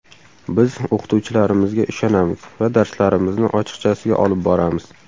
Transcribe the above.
Biz o‘qituvchilarimizga ishonamiz va darslarimizni ochiqchasiga olib boramiz.